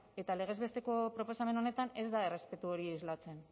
eta legez besteko proposamen honetan ez da errespetu hori islatzen